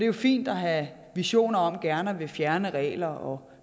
jo fint at have visioner om gerne at ville fjerne regler og